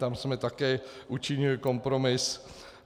Tam jsme také učinili kompromis.